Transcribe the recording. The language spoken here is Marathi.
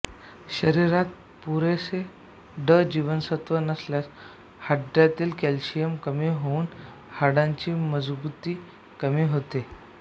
शरीरात पुरेसे ड जीवनसत्त्व नसल्यास हाडातील कॅल्शियम कमी होऊन हाडांची मजबुती कमी होते